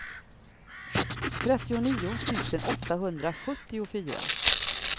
trettionio tusen åttahundrasjuttiofyra